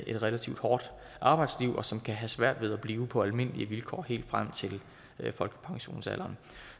et relativt hårdt arbejdsliv og som kan have svært ved at blive på almindelige vilkår helt frem til folkepensionsalderen